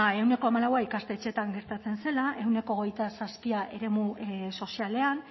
ehuneko hamalau ikastetxeetan gertatzen zela ehuneko hogeita zazpi eremu sozialean